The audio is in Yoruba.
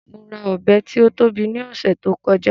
Mo ra Ọ̀bẹ tí ó tóbi ní ọ̀sẹ̀ tí ó kọjá